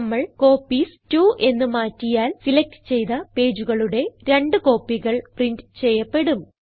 നമ്മൾ കോപ്പീസ് 2 എന്ന് മാറ്റിയാൽ സിലക്റ്റ് ചെയ്ത പേജുകളുടെ രണ്ട് കോപ്പികൾ പ്രിന്റ് ചെയ്യപ്പെടും